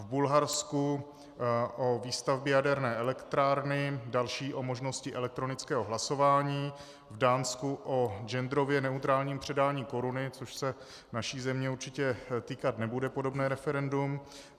V Bulharsku o výstavbě jaderné elektrárny, další o možnosti elektronického hlasování, v Dánsku o genderově neutrálním předání koruny, což se naší země určitě týkat nebude, podobné referendum.